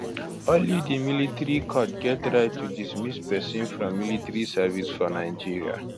only di military court get right to dismiss pesin from military service for nigeria